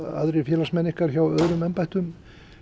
aðrir félagsmenn ykkar hjá öðrum embættum